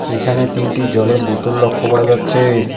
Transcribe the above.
এখানে তিনটি জলের বোতল লক্ষ্য করা যাচ্ছে।